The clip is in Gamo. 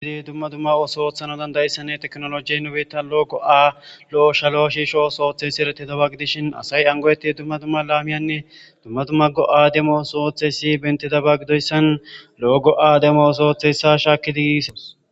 Dere dumma dumma ooso oottana danddayesnne teknolojeen nu bitta lo'o go'a ishalo shishsho ooso ootiyo ooso go'etidaba gidishin asayi an go'etidi dumma dumma laamiyanne dumma dumma go'a demo ooso oottes.bantta giddon lo'o go'a demos oosa shakkidi gis.